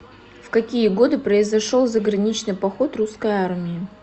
в какие годы произошел заграничный поход русской армии